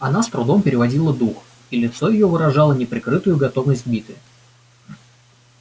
она с трудом переводила дух и лицо её выражало неприкрытую готовность к битве